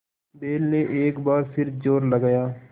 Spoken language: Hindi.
बैल ने एक बार फिर जोर लगाया